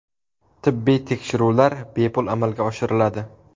Tibbiy tekshiruvlar bepul amalga oshiriladi.